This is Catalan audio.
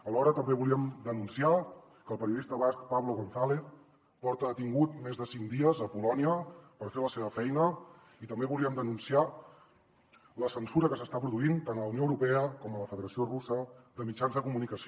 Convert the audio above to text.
alhora també volíem denunciar que el periodista basc pablo gonzález fa més de cinc dies que està detingut a polònia per fer la seva feina i també volíem denunciar la censura que s’està produint tant a la unió europea com a la federació russa de mitjans de comunicació